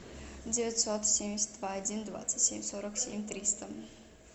девятьсот семьдесят два один двадцать семь сорок семь триста